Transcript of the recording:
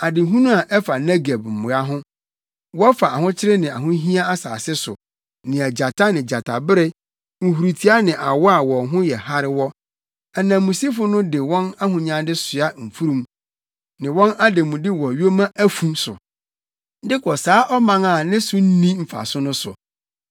Adehunu a ɛfa Negeb mmoa ho: wɔfa ahokyere ne ahohiahia asase so, nea gyata ne gyatabere, nhurutoa ne awɔ a wɔn ho yɛ hare wɔ, ananmusifo no de wɔn ahonyade soa mfurum ne wɔn ademude wɔ yoma afu so, de kɔ saa ɔman a ne so nni mfaso no so,